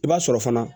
I b'a sɔrɔ fana